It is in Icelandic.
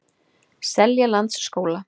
Seljalandsskóla